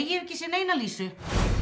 ég hef ekki séð neina Lísu